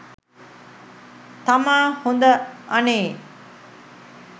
තමා හොඳ අනේ